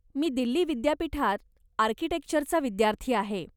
मी दिल्ली विद्यापीठात आर्किटेक्चरचा विद्यार्थी आहे.